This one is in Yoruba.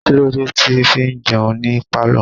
Kílódé tí ẹ fi ń jẹun ní pálọ̀?